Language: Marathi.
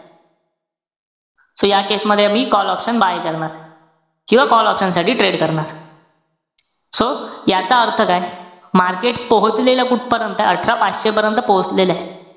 So या case मध्ये आम्ही call option buy करणार. किंवा call oprion साठी trade करणार. so याचा अर्थ काय? market पोहोचलेलं कुठपर्यंत? अठरा पाचशे पर्यंत पोहोचलेलंय.